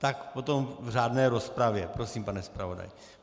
Tak potom v řádné rozpravě prosím, pane zpravodaji.